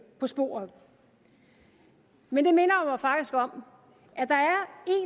på sporet men det minder mig faktisk om